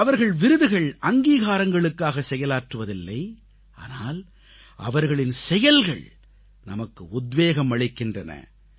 அவர்கள் விருதுகள்அங்கீகாரங்களுக்காக செயலாற்றுவதில்லை ஆனால் அவர்களின் செயல்கள் நமக்கு உத்வேகம் அளிக்கின்றன